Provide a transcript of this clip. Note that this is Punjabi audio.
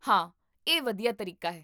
ਹਾਂ, ਇਹ ਵਧੀਆ ਤਰੀਕਾ ਹੈ